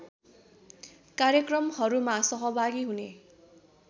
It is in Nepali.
कार्यक्रमहरूमा सहभागी हुने